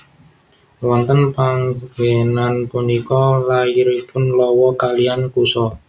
Wonten panggenan punika lairipun Lawa kaliyan Kusa